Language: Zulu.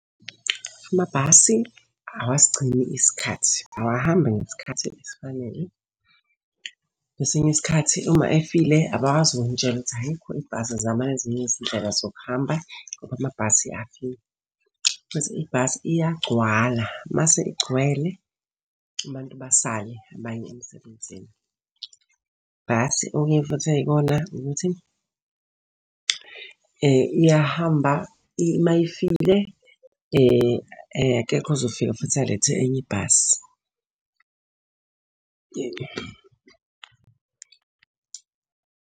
Amabhasi awasigcini isikhathi awahambi ngesikhathi esifanele. Kwesinye isikhathi uma efile abakwazi ukunitshela ukuthi ayikho ibhasi zamani ezinye izindlela zokuhamba, ngoba amabhasi afile. Bese ibhasi iyagcwala, uma isigcwele, abantu basale abaye emsebenzini. Bhasi okunye futhi eyikona ukuthi, iyahamba uma ifile, akekho ozofika futhi alethe enye ibhasi.